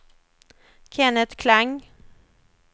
Kenneth Klang